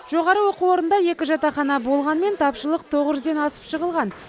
жоғары оқу орнында екі жатақхана болғанымен тапшылық тоғыз жүзден асып жығылған